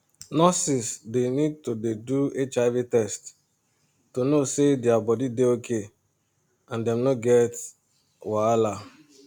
nurses dey need to dey do hiv test to know say their body dey okay and dem no go get wahala